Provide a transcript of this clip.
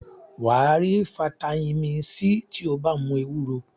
Wà á rí fataímìn C tí ó bá mu ewúro.